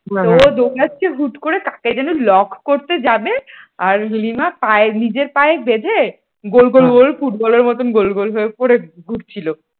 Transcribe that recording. তো ও আসছে হুট করে কাকে যেন lock করতে যাবে আর লিমা পায়ে নিজের পায়ে বেঁধে গোল গোল গোল ফুটবলের মত গোল গোল পরে ঘুরছিল ।